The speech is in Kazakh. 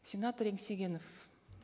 сенатор еңсегенов